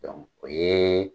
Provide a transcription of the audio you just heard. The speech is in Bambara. Dɔnku o ye